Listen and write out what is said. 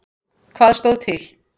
Hvað stóð til?